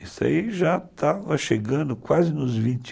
Isso aí já estava chegando quase nos vinte